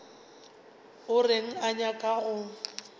o reng o nyaka go